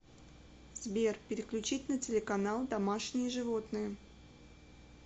сбер переключить на телеканал домашние животные